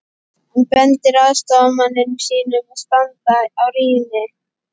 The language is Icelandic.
Hann bendir aðstoðarmanni sínum að standa á rýni.